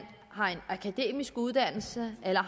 har en akademisk uddannelse eller